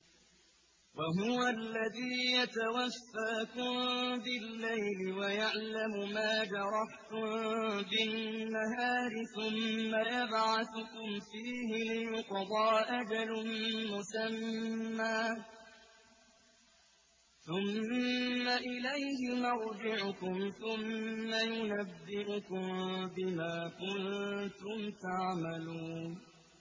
وَهُوَ الَّذِي يَتَوَفَّاكُم بِاللَّيْلِ وَيَعْلَمُ مَا جَرَحْتُم بِالنَّهَارِ ثُمَّ يَبْعَثُكُمْ فِيهِ لِيُقْضَىٰ أَجَلٌ مُّسَمًّى ۖ ثُمَّ إِلَيْهِ مَرْجِعُكُمْ ثُمَّ يُنَبِّئُكُم بِمَا كُنتُمْ تَعْمَلُونَ